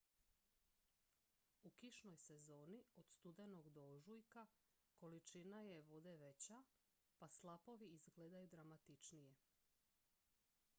u kišnoj sezoni od studenog do ožujka količina je vode veća pa slapovi izgledaju dramatičnije